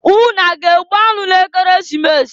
Unu a ga-egbu anụ n'Ekeresimesi?